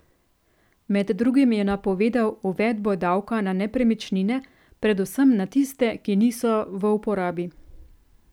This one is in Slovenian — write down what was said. Med drugim je napovedal uvedbo davka na nepremičnine, predvsem na tiste, ki niso v uporabi.